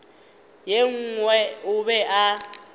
ye nngwe o be a